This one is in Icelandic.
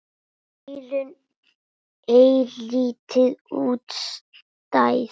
Eyrun eilítið útstæð.